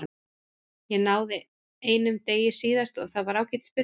Ég náði einum degi síðast og það var ágætis byrjun.